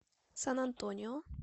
сан антонио